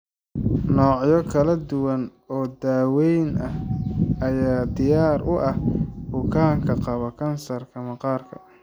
Noocyo kala duwan oo daaweyn ah ayaa diyaar u ah bukaanka qaba kansarka maqaarka.